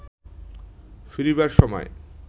ফিরিবার সময়